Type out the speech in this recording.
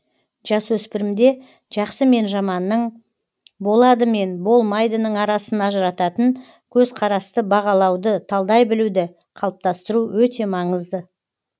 жасөспірімде жақсы мен жаманның болады мен болмайдының арасын ажырататын көзқарасты бағалауды талдай білуды қалыптастыру өте маңызды